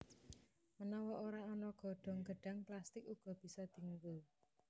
Menawa ora ana godhong gedhang plastik uga bisa dienggo